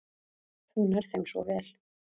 Þú nærð þeim svo vel.